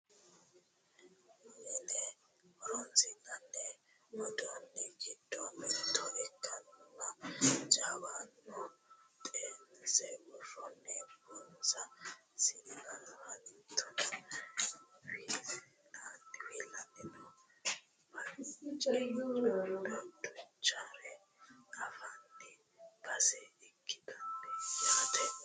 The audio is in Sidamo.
Mine horonsi'nanni uduunni giddo mitto ikkinoha jawana xeense worroonni buna siinna hattono wiliilanni noo baccichonna duuchare anfanni base ikkitanno yaate